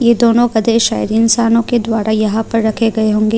यह दोनों गधे शायद इंसानों के द्वारा यहां पर रखे गए होंगे।